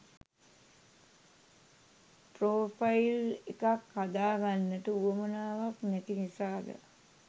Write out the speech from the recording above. Profile එකක් හදාගන්නට උවමනාවක් නැති නිසාද?